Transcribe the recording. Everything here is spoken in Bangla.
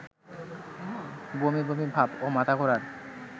বমিবমি ভাব ও মাথাঘোরার